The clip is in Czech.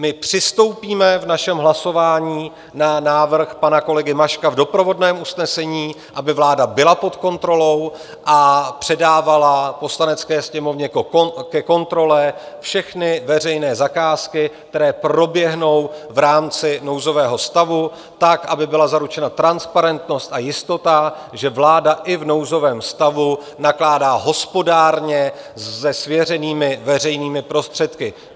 My přistoupíme v našem hlasování na návrh pana kolegy Maška v doprovodném usnesení, aby vláda byla pod kontrolou a předávala Poslanecké sněmovně ke kontrole všechny veřejné zakázky, které proběhnou v rámci nouzového stavu, tak aby byla zaručena transparentnost a jistota, že vláda i v nouzovém stavu nakládá hospodárně se svěřenými veřejnými prostředky.